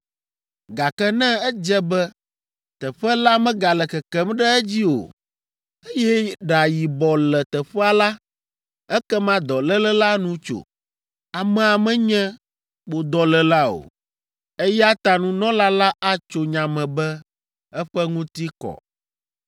Gake ne edze be teƒe la megale kekem ɖe edzi o, eye ɖa yibɔ le teƒea la, ekema dɔléle la nu tso, amea menye kpodɔléla o, eya ta nunɔla la atso nya me be eƒe ŋuti kɔ.